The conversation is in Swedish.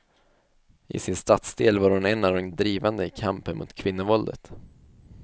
I sin stadsdel var hon en av de drivande i kampen mot kvinnovåldet.